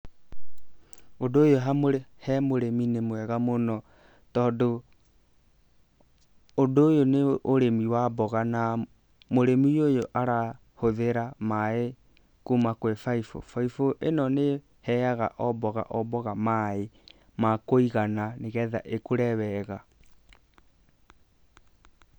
Ũndũ ũyũ he mũrĩmi nĩ mwega mũno, tondũ ũndũ ũyũ nĩ ũrĩmi wa mboga na mũrĩmi ũyũ arahũthĩra maaĩ kuma kwĩ baibũ. Baibũ ĩno nĩ ĩheaga o mboga o mboga maaĩ ma kũigana, nĩgetha ĩkũre wega.